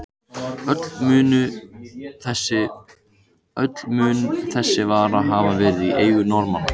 Öll mun þessi vara hafa verið í eigu Norðmanna.